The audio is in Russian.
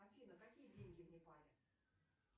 афина какие деньги в непале